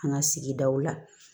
An ka sigidaw la